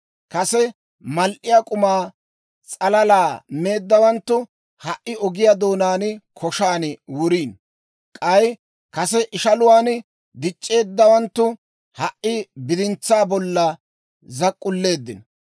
Kase mal"iyaa k'uma s'alala meeddawanttu ha"i ogiyaa doonaan koshaan wuriino; k'ay kase ishaluwaan dic'c'eeddawanttu ha"i bidintsaa bolla zak'k'ulleeddino.